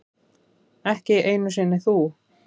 Ekki einu sinni þú.